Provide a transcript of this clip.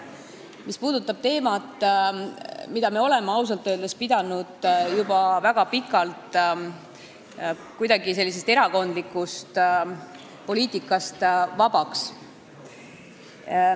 See puudutab teemat, mis meie arvates on ausalt öeldes olnud juba väga pikalt erakondlikust poliitikast vaba.